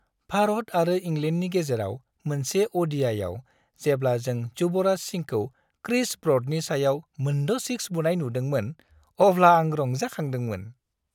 भारत आरो इंलेन्डनि गेजेराव मोनसे अ'डिआइआव जेब्ला जों युवराज सिंहखौ क्रिस ब्र'डनि सायाव मोनद' सिक्स बुनाय नुदोंमोन, अब्ला आं रंजाखांदोंमोन।